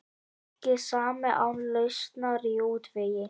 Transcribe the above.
Ekki samið án lausnar í útvegi